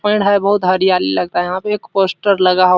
एक पेड़ है बहुत हरियाली लगता है | यहाँ पे एक पोस्टर लगा हु --